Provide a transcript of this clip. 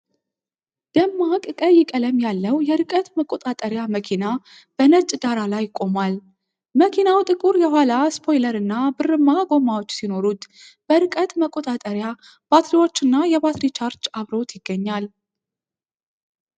ደማቅ ቀይ ቀለም ያለው የርቀት መቆጣጠሪያ መኪና በነጭ ዳራ ላይ ቆሟል። መኪናው ጥቁር የኋላ ስፖይለርና ብርማ ጎማዎች ሲኖሩት፣ በርቀት መቆጣጠሪያ፣ ባትሪዎች እና የባትሪ ቻርጅ አብሮት ይገኛል።